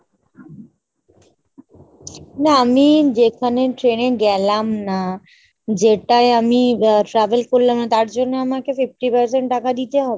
না আমি যেখানে train এ গেলাম না যেটায় আমি আ travel করলাম না তার জন্য আমাকে fifty percent টাকা দিতে হবে ?